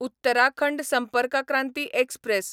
Uttarakhand Sampark Kranti express